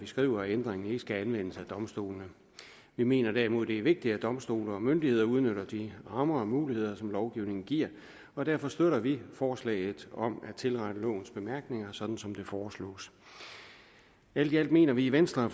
skriver at ændringen ikke skal anvendes af domstolene vi mener derimod det er vigtigt at domstole og myndigheder udnytter de rammer og muligheder som lovgivningen giver og derfor støtter vi forslaget om at tilrette lovens bemærkninger sådan som det foreslås alt i alt mener vi i venstre at